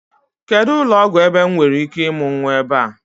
Kedụ ụlọọgwụ ebe m nwereike ịmụ nnwa ebe a?